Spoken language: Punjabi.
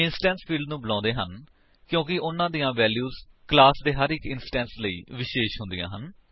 ਇੰਸਟੈਂਸ ਫਿਲਡਸ ਨੂੰ ਬੁਲਾਉਂਦੇ ਹਨ ਕਿਉਂਕਿ ਉਨ੍ਹਾਂ ਦੀਆਂ ਵੈਲਿਊਜ ਕਲਾਸ ਦੇ ਹਰ ਇੱਕ ਇੰਸਟੈਂਸ ਲਈ ਵਿਸ਼ੇਸ਼ ਹੁੰਦੀਆਂ ਹਨ